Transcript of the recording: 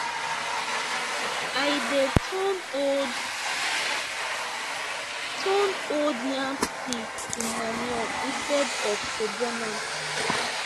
i dey turn old turn old yam stick to manure instead of to burn am